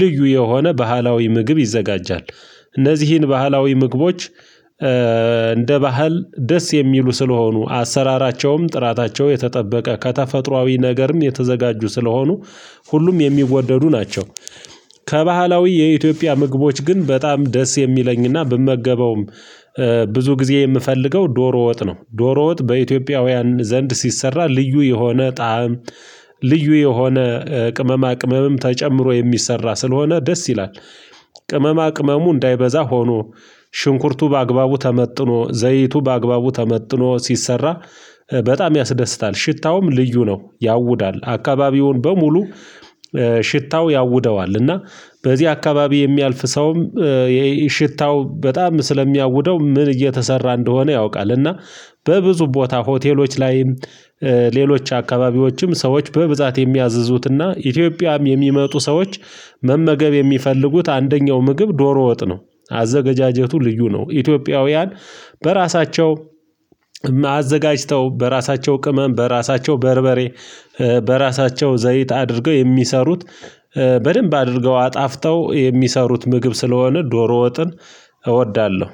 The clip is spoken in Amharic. ልዩ የሆነ ባህላዊ ምግብ ይዘጋጃል። እነዚህን ባህላዊ ምግቦች እንደ ባህል ደስ የሚሉ ስለሆኑ አሰራራቸውም ጥራታቸው የተጠበቀ ከተፈጥሮአዊ ነገርም የተዘጋጁ ስለሆኑ ሁሉም የሚወደዱ ናቸው። ከባህላዊ የኢትዮጵያ ምግቦች ግን በጣም ደስ የሚለኝና ብመገበውም ብዙ ጊዜ የምፈልገው ዶሮ ወጥ ነው። ዶሮ ወጥ በኢትዮጵያውያን ዘንድ ሲሰራ ልዩ የሆነ ጣዕም ልዩ የሆነ ቅመማ ቅመምም ተጨምሮ የሚሰራ ስለሆነ ደስ ይላል። ቅመማ ቅመሙ እንዳይበዛ ሆኖ ሽንኩርቱ በአግባቡ ተመጥኖ ዘይቱ በአግባቡ ተመጥኖ ሲሰራ በጣም ያስደስታል ሽታውም ልዩ ነው ያውዳል አካባቢውን በሙሉ። ሽታው ያውደዋል እና በዚህ አካባቢ የሚያልፍ ሰውም ሽታው በጣም ስለሚያውደው ምን እየተሰራ እንደሆነ ያውቃል። እና በብዙ ቦታ ሆቴሎች ላይም ሌሎች አካባቢዎችም ሰዎች በብዛት የሚያዝዙትና ኢትዮጵያም የሚመጡ ሰዎች መመገብ የሚፈልጉት አንደኛው ምግብ ዶሮ ወጥ ነው። አዘገጃጀቱ ልዩ ነው ኢትዮጵያውያን በራሳቸው አዘጋጅተው በራሳቸው ቅመም በራሳቸው በርበሬ በራሳቸው ዘይት አድርገው የሚሰሩት። በደንብ አድርገው አጣፍተው የሚሰሩት ምግብ ስለሆነ ዶሮ ወጥን እወዳለሁ።